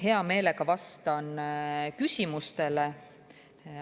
Hea meelega vastan küsimustele.